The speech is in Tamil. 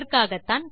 இதற்காகத்தான்